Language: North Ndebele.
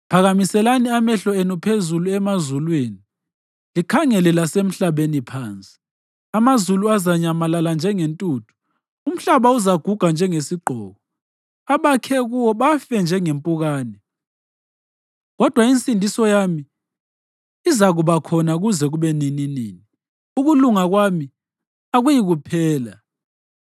Phakamiselani amehlo enu phezulu emazulwini, likhangele lasemhlabeni phansi; amazulu azanyamalala njengentuthu; umhlaba uzaguga njengesigqoko abakhe kuwo bafe njengempukane. Kodwa insindiso yami izakuba khona kuze kube nininini, ukulunga kwami akuyikuphela.